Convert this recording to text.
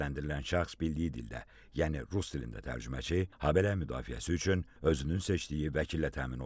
Təqsirləndirilən şəxs bildiyi dildə, yəni rus dilində tərcüməçi, habelə müdafiəsi üçün özünün seçdiyi vəkillə təmin olunub.